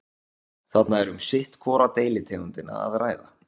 þarna er um sitt hvora deilitegundina að ræða